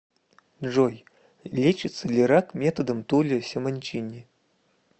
джой лечится ли рак методом тулио симончини